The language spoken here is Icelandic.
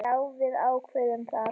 Já, við ákváðum það.